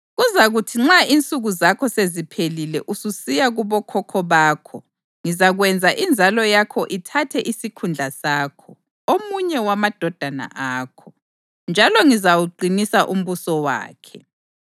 Kuzakuthi nxa insuku zakho seziphelile ususiya kubokhokho bakho, ngizakwenza inzalo yakho ithathe isikhundla sakho, omunye wamadodana akho, njalo ngizawuqinisa umbuso wakhe.